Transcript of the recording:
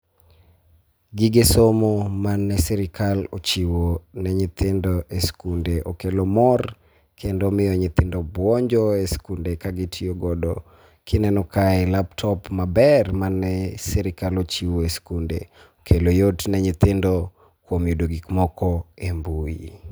Gige somo mane sirikal ochiwo ne nyithindo e skunde okelo mor kendo miyo nyithindo bwonjo e skunde ka gitiyogodo. Kineno kae laptop maber, mane sirikal ochiwo e skunde okelo yot ne nyithindo kuom yudo gik moko e mbui.